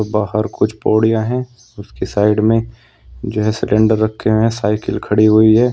बाहर कुछ बोरिया है उसकी साइड में जो सिलेंडर रखे हैं साइकिल खड़ी हुई है।